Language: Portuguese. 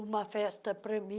uma festa para mim.